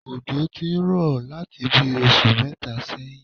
Òjò ti ń rọ̀ láti bí i oṣù mẹ́ta sẹ́yìn